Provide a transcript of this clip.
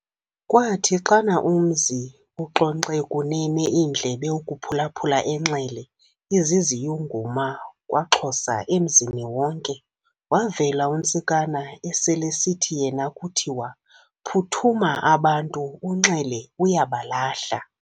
Kwathi xana umzi uxonxe kunene iindlebe ukuphula-phula uNxele, iziziyunguma KwaXhosaemzini wonke, wavela uNtsikana, eselesithi yena kuthiwa- "Phuthuma abantu, uNxele uyabalahla."